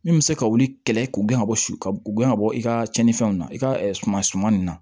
Min bɛ se ka wuli kɛlɛ k'u gɛn ka bɔ su ka gɛn ka bɔ i ka tiɲɛnifɛnw na i ka suman suman nin na